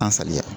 An saliya